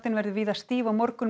verður víða stíf á morgun með